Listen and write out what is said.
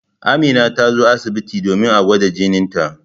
Amina ta zo asibiti domin a gwada jinita.